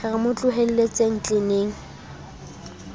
re re mo tlohelletseng tleneng